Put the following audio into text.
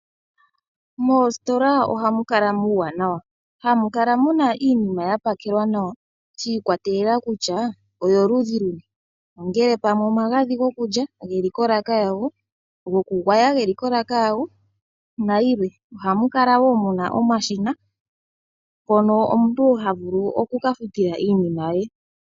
Moositola ohamu kala muuwanawa hamu kala muna iinima ya pakelwa nawa shi ikwatelela kutya oyo luudhi luni ongele pamwe omagadhi gokulya geli kolaka yago goku gwaya geli kolaka yago nayilwe. Ohamu kala wo muna omashina mpono omuntu haga vulu okuka futula iinima ye.